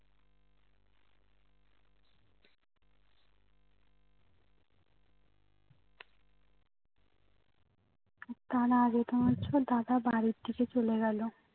তার আগে তো মনেহচ্ছিলো দাদা বাড়ি থেকে চলে গেলো